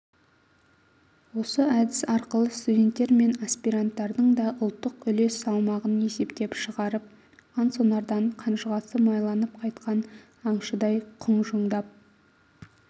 осы әдіс арқылы студенттер мен аспиранттардың да ұлттық үлес салмағын есептеп шығарып қансонардан қанжығасы майланып қайтқан аңшыдай құнжыңдап